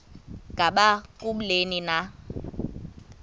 ngaba kubleni na